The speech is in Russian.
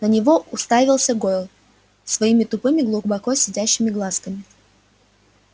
на него уставился гойл своими тупыми глубоко сидящими глазками